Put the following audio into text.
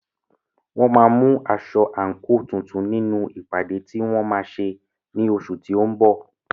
Wọ́n máa mú aṣọ/àǹkò tuntun nínú ìpàdé tí wọ́n máa ṣe ní oṣù tí ó ń bọ̀.